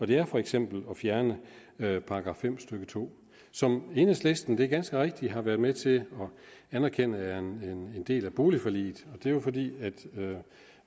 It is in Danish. det er for eksempel at fjerne § fem stykke to som enhedslisten det er ganske rigtigt har været med til at anerkende er en del af boligforliget det er jo fordi